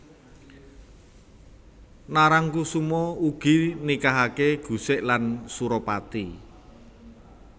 Narangkusuma uga nikahake Gusik lan Suropati